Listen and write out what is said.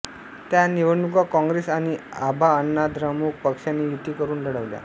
त्या निवडणुका काँग्रेस आणि अभाअण्णाद्रमुक पक्षांनी युती करून लढवल्या